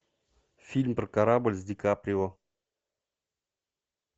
фильм про корабль с ди каприо